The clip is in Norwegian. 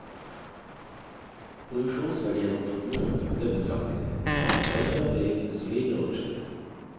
Produksjonsverdien og formuen økte betraktelig, og selskapet gikk med solide overskudd.